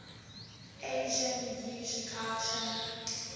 asian usculture